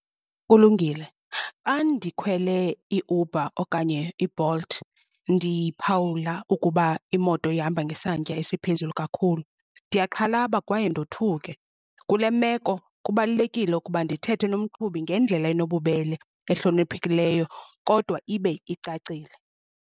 Kulungile, xa ndikhwele iUber okanye iBolt ndiphawula ukuba imoto ihamba ngesantya esiphezulu kakhulu, ndiyaxhalaba kwaye ndothuke. Kule meko kubalulekile ukuba ndithethe nomqhubi ngendlela enobubele, ehloniphekileyo kodwa ibe icacile.